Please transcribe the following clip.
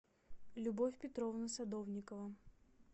любовь петровна садовникова